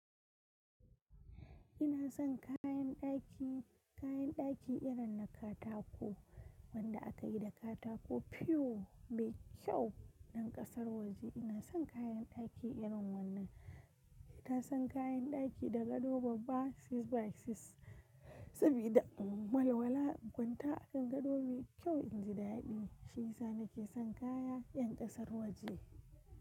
Ina son kayan daki, kayan daki irin na katako wanda aka yi da katako piyo mai kyau nan kasar waje. Ina son kayan daki irin wannan. In kasan kayan daki da gado babba 6x6 sabida in walwala, in kwanta akan gado mai kyau, inji da daɗi. Shiyasa nake son kayan yan kasar waje.